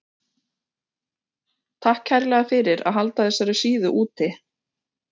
Takk kærlega fyrir að halda þessari síðu úti.